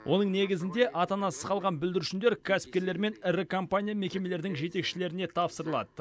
оның негізінде ата анасыз қалған бүлдіршіндер кәсіпкерлер мен ірі компания мекемелердің жетекшілеріне тапсырылады